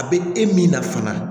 A bɛ e min na fana